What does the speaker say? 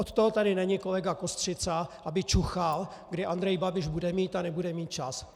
Od toho tady není kolega Kostřica, aby čuchal, kdy Andrej Babiš bude mít a nebude mít čas.